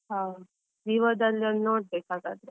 ಹಾ, Vivo ದಲ್ಲಿ ಒಂದ್ ನೋಡ್ಬೇಕು ಹಾಗಾದ್ರೆ.